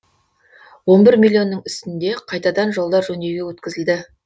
он бір миллионның үстінде қайтадан жолдар жөндеуге өткізілді